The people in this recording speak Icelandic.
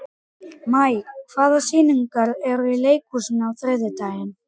Maj, hvaða sýningar eru í leikhúsinu á þriðjudaginn?